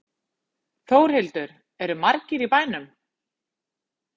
Þórhildur, eru margir í bænum?